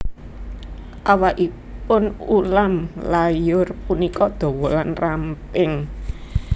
Awakipun ulam layur punika dawa lan ramping